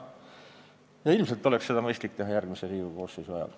Ja ilmselt oleks seda mõistlik teha järgmise Riigikogu koosseisu ajal.